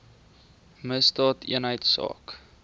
misdaadeenheidsaak